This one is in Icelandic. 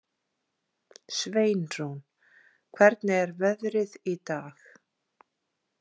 Sveinrún, hvernig er veðrið í dag?